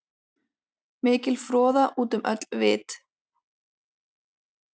Mikil froða út um öll vit.